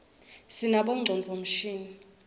sinabonqcondvo mshini